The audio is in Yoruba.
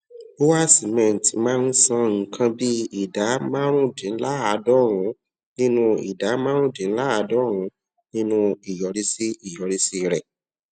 bua cement máa ń san nǹkan bí ìdá márùndínláàádọrùnún nínú ìdá márùndínláàádọrùnún nínú ìyọrísí ìyọrísí rè